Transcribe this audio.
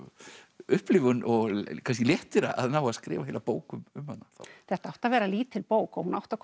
upplifun og kannski léttir að ná að skrifa heila bók um hana þetta átti að vera lítil bók og hún átti að koma